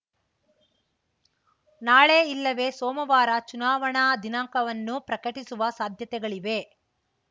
ನಾಳೆ ಇಲ್ಲವೆ ಸೋಮವಾರ ಚುನಾವಣಾ ದಿನಾಂಕವನ್ನು ಪ್ರಕಟಿಸುವ ಸಾಧ್ಯತೆಗಳಿವೆ